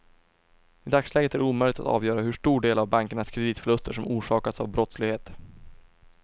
I dagsläget är det omöjligt att avgöra hur stor del av bankernas kreditförluster som orsakats av brottslighet.